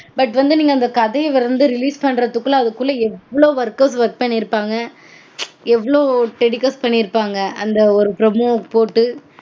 But வந்து நீங்க அந்த கதைய வந்து release பண்றதுக்குள்ள அதுக்குள்ள எவ்ளோ workers work பண்ணிருப்பாங்க. எவ்ளோ telecast பண்ணிருப்பாங்க. அந்த promo போட்டு